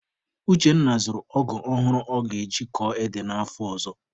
Uchenna zụrụ ọgụ ọhụrụ ọ ga-eji kọọ ede n'afọ ọzọ.